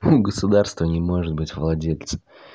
у государства не может быть владельца